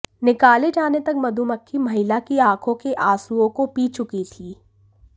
निकाले जाने तक मधुमक्खी महिला की आंखों के आंसुओं को पी चुकी थीं